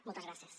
moltes gràcies